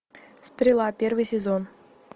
стрела первый сезон